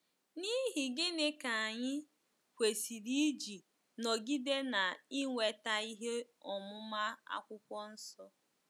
N’ihi gịnị ka anyị kwesịrị iji nọgide na-inweta ihe ọmụma Akwụkwọ Nsọ?